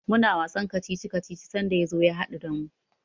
Muna wasan kacici-kacici sanda ya zo ya haɗu da mu.